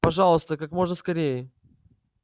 пожалуйста как можно скорее